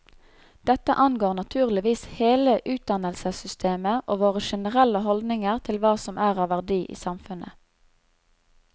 Dette angår naturligvis hele utdannelsessystemet og våre generelle holdninger til hva som er av verdi i samfunnet.